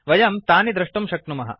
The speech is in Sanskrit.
वयं तानि दृष्टुं प्रेरयामः